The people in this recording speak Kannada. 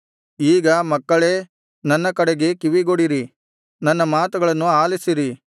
ಈಗ ಮಕ್ಕಳೇ ನನ್ನ ಕಡೆಗೆ ಕಿವಿಗೊಡಿರಿ ನನ್ನ ಮಾತುಗಳನ್ನು ಆಲಿಸಿರಿ